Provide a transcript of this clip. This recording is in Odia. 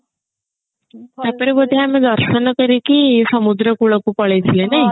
ତାପରେ ବୋଧେ ଆମେ ଦର୍ଶନ କରିକି ସମୁଦ୍ର କୁଳକୁ ପଳେଇଥିଲେ ନାଇଁ